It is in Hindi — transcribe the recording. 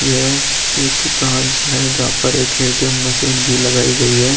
यह एक ब्रांच है। जहां पर एक एटीएम भी मशीन लगाई गई है।